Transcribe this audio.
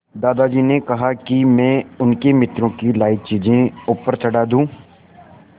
दादाजी ने कहा कि मैं उनके मित्रों की लाई चीज़ें ऊपर चढ़ा दूँ